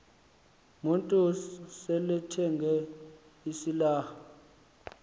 motors selethenge isilarha